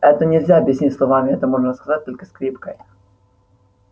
это нельзя объяснить словами это можно рассказать только скрипкой